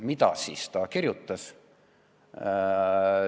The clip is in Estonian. Mida siis kirjutati?